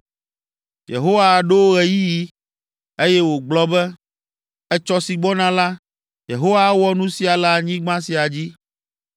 Yehowa ɖo ɣeyiɣi, eye wògblɔ be, “Etsɔ si gbɔna la, Yehowa awɔ nu sia le anyigba sia dzi.”